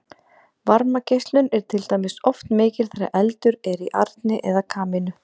varmageislun er til dæmis oft mikil þegar eldur er í arni eða kamínu